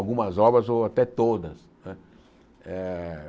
Algumas obras ou até todas né eh.